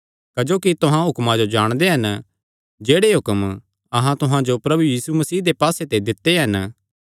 क्जोकि तुहां हुक्मां जो जाणदे हन जेह्ड़े हुक्म अहां तुहां जो प्रभु यीशु मसीह दे पास्से ते दित्ते हन